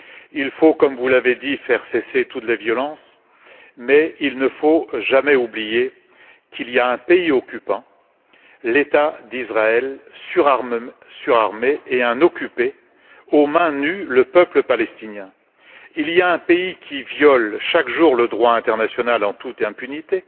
Il faut, comme vous l'avez dit, faire cesser toutes les violences, mais il ne faut jamais oublier qu'il y a un pays occupant, l'État d'Israël, surarmé, et un pays occupé, aux mains nues, le peuple palestinien. Il y a un pays qui viole chaque jour le droit international en toute impunité,